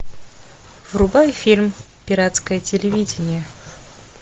врубай фильм пиратское телевидение